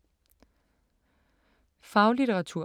Faglitteratur